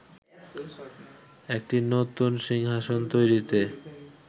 একটি নতুন সিংহাসন তৈরিতে